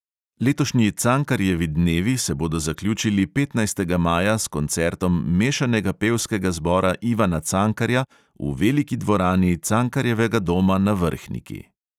Letošnji cankarjevi dnevi se bodo zaključili petnajstega maja s koncertom mešanega pevskega zbora ivana cankarja v veliki dvorani cankarjevega doma na vrhniki.